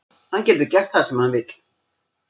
Hann getur gert það sem hann vill.